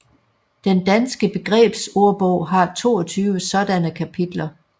Den Danske Begrebsordbog har 22 sådanne kapitler